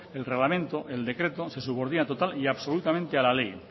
el reglamento el decreto se subordina total y absolutamente a la ley